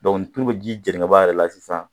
tulu bɛ ji jeni ka bɔ a yɛrɛ la sisan